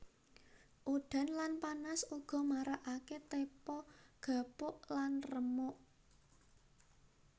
Udan lan panas uga marakake tepo gapuk lan remuk